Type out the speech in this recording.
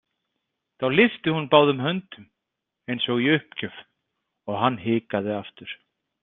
Þá lyfti hún báðum höndum eins og í uppgjöf og hann hikaði aftur.